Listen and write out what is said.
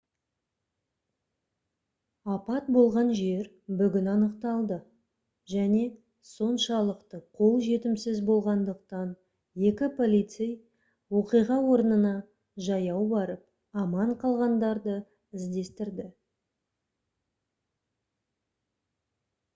апат болған жер бүгін анықталды және соншалықты қолжетімсіз болғандықтан екі полицей оқиға орнына жаяу барып аман қалғандарды іздестірді